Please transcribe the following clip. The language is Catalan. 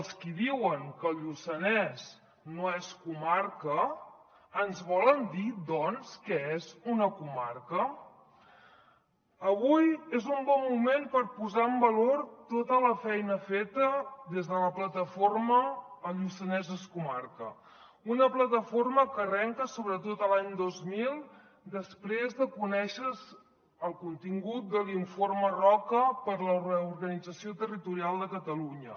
els qui diuen que el lluçanès no és comarca ens volen dir doncs què és una comarca avui és un bon moment per posar en valor tota la feina feta des de la plataforma el lluçanès és comarca una plataforma que arrenca sobretot l’any dos mil després de conèixer se el contingut de l’informe roca per a la reorganització territorial de catalunya